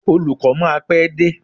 Olùkó máa pé dé.